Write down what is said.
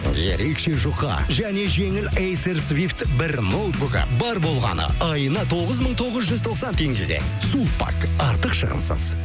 ерекше жұқа және жеңіл эйсер свивт бір ноутбугі бар болғаны айына тоғыз мың тоғыз жүз тоқсан теңгеден сулпак артық шығынсыз